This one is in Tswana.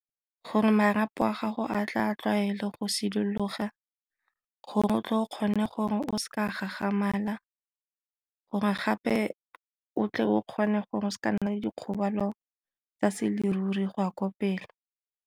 Gore marapo a gago a tle a tlwaele go sidologa gore o tle o kgone gore o gagamala, gore gape o tle o kgone gore se ka nna le dikgobalo tsa se leruri go ya ko pele.